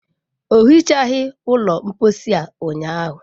O hichaghị ụlọ mposi a ụnyaahụ.